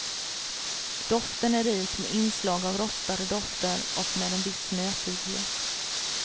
Doften är rik med inslag av rostade dofter och med en viss nötighet.